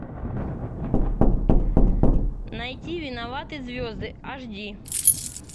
найти виноваты звезды аш ди